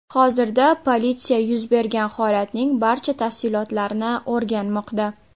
Hozirda polisya yuz bergan holatning barcha tafsilotlarini o‘rganmoqda.